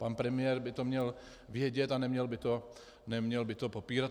Pan premiér by to měl vědět a neměl by to popírat.